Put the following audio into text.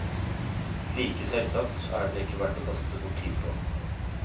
Like selvsagt er den ikke verd å kaste bort tid på.